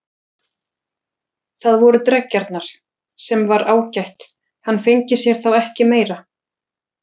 Það voru dreggjarnar, sem var ágætt, hann fengi sér þá ekki meira.